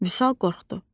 Vüsal qorxdu.